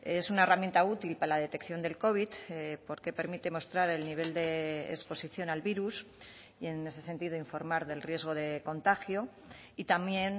es una herramienta útil para la detección del covid porque permite mostrar el nivel de exposición al virus y en ese sentido informar del riesgo de contagio y también